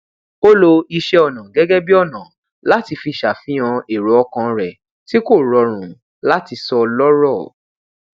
ó lo iṣẹọnà gẹgẹ bí ọnà láti fi ṣàfihàn èrò ọkan rẹ tí kò rọrùn láti sọ lọrọ